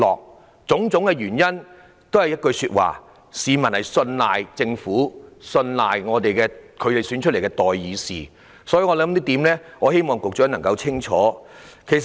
凡此種種都說明，市民信賴政府及信賴他們選出來的代議士，我希望局長清楚這一點。